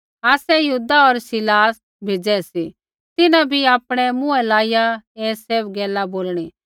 आसै यहूदा होर सीलास भेज़ै सी तिन्हां बी आपणै मुँहै लाइया ऐ सैभ गैला बोलणी